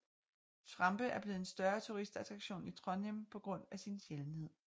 Trampe er blevet en større turistattraktion i Trondheim på grund af sin sjældenhed